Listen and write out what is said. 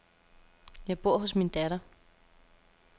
Jeg bor hos min datter.